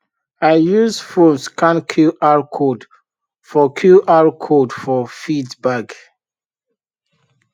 i use phone scan qr code for qr code for feed bag